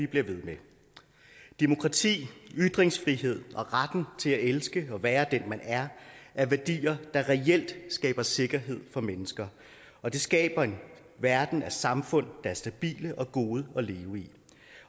blive ved med demokrati ytringsfrihed og retten til at elske og være den man er er værdier der reelt skaber sikkerhed for mennesker og det skaber en verden af samfund der er stabile og gode at leve i